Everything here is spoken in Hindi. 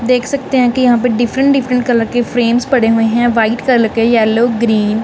देख सकते हैं कि यहां पे डिफरेंट डिफरेंट कलर के फ्रेम्स पड़े हुए हैं व्हाइट कलर के येलो ग्रीन --